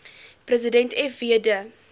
president fw de